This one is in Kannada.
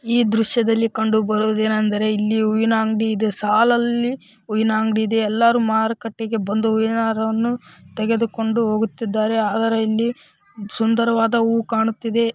ಈ ದೃಶ್ಯದಲ್ಲಿ ಕಂಡು ಬರುವುದು ಏನೆಂದರೆ ಇಲ್ಲಿ ಹೂವಿನ ಅಂಗಡಿ ಇದೆ ಸಾಲಲ್ಲಿ ಹೂವಿನ ಅಂಗಡಿ ಇದೆ ಎಲ್ಲಾರು ಮಾರುಕಟ್ಟೆಗೆ ಬಂದು ಹಾರವನ್ನು ತೆಗೆದುಕೊಂಡು ಹೋಗುತ್ತಿದ್ದಾರೆ ಅದರ ಹಿಂದೆ ಸುಂದರವಾದ ಹೂ ಕಾಣುತ್ತಿದೆ.